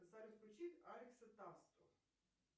салют включи алекса тасту